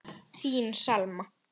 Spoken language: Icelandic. Þín Selma.